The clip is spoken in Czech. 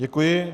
Děkuji.